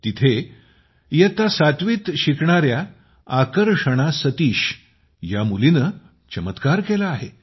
तिथे इयत्ता सातवीत शिकणाऱ्या आकर्षणा सतीश या मुलीने चमत्कार केला आहे